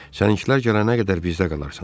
Səninkilər gələnə qədər bizdə qalarsan.